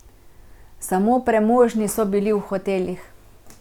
Samo premožni so bili v hotelih.